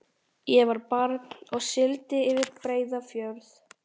Ég var barn og sigldi yfir Breiðafjörð.